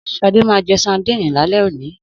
Sadé ma je sandínì lálẹ́ oní.